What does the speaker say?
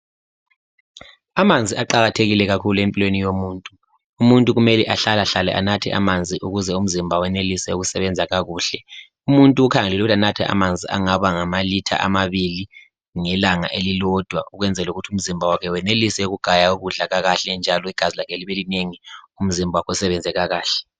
Amanzi aqakathekile empilweni yomuntu umuntu kumele ahlalehlale anathe amanzi ukuze umzimba wenelise ukusebenza kakuhle. Umuntu kukhangelelwe ukuthi anathe amanzi angama litre amabili ngelanga elilodwa ukwenzela ukuthi umzimba wakhe wenelisi ugaye ukudla kakuhle njalo igazi lakhe libe linengi umzimba usebenze kakahle.